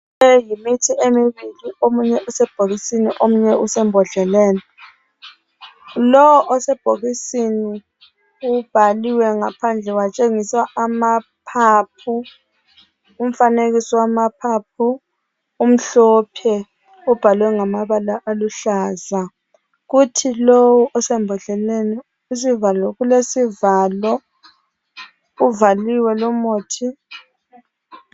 Le yimithi emibili. Omunye usebhokisini, omunye usembodleleni. Lo osebhokisini, ubhaliwe ngaphandle. Watshengiswa amaphaphu. Umfanekiso wamaphaphu, umhlophe. Ubhalwe ngamabala aluhlaza. Kuthi lowu osembodleleni, kulesivalo. Uvaliwe lumuthi.